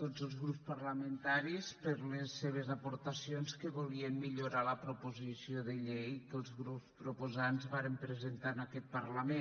tots els grups parlamentaris per les seves aportacions que volien millorar la proposició de llei que els grups proposants varen presentar en aquest parlament